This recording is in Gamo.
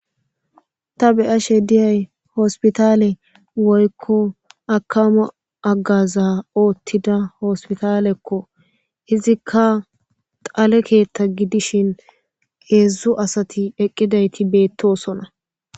Ta be'ashe diyay hospitaale woykko akkamo haggaza oottida hospitaalekko. Izikka dhale keetta gidishi hedzduzu asati eqqidayti beettosona.